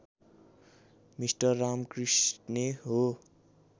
mister रामकृष्णे हो